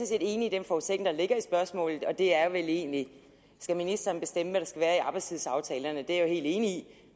set enig i den forudsætning der ligger i spørgsmålet og det er vel egentlig skal ministeren bestemme hvad der skal være i arbejdstidsaftalerne og det er jeg helt enig